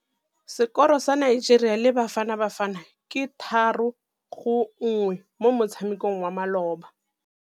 Sekôrô sa Nigeria le Bafanabafana ke 3-1 mo motshamekong wa malôba.